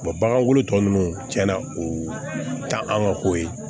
bagan wolo tɔ ninnu cɛnna o tɛ an ka ko ye